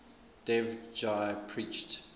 dev ji preached